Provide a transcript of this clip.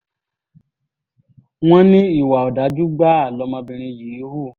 wọ́n ní ìwà ọ̀dájú gbáà lọmọbìnrin yìí hù